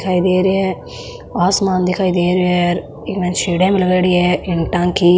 दिखाई दे रहे है आसमान दिखाई दे रहे है इक माय सीढिया भी लगायोडी है इट्टा की।